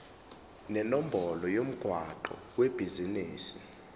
nenombolo yomgwaqo webhizinisi